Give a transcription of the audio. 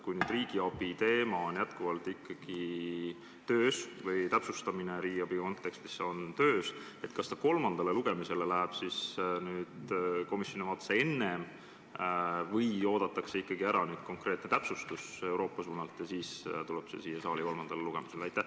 Kui riigiabi teema on ikka veel töös või täpsustamine riigiabi kontekstis ikka veel käib, siis kas see eelnõu läheb kolmandale lugemisele komisjoni vaates enne, kui Euroopa suunalt on konkreetne täpsustus tulnud, või oodatakse täpsustus ära ja alles siis tuleb see siia saali kolmandale lugemisele?